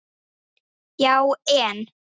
Já en?